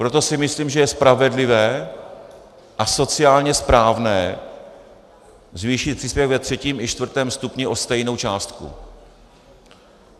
Proto si myslím, že je spravedlivé a sociálně správné zvýšit příspěvek ve třetím i čtvrtém stupni o stejnou částku.